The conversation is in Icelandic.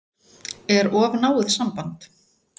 Er of náið samband?